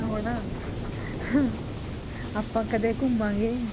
ਹੁਣ ਆਪਾਂ ਕਦੇ ਘੁੰਮਾਂਗੇ।